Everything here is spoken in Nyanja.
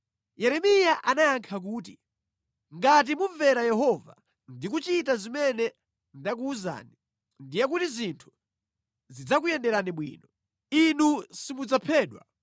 Yeremiya anayankha kuti, “Ngati mumvera Yehova ndi kuchita zimene ndakuwuzani, ndiye kuti zinthu zidzakuyenderani bwino. Inu simudzaphedwa.